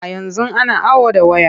A yanzu ana awo da ways.